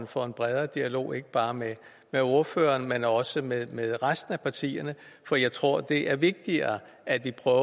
for en bredere dialog ikke bare med ordføreren men også med med resten af partierne for jeg tror det er vigtigere at vi prøver